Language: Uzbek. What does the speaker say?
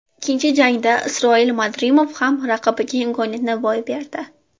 Ikkinchi jangda Isroil Madrimov ham raqibiga imkoniyatni boy berdi.